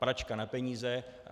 Pračka na peníze.